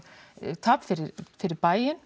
tap fyrir fyrir bæinn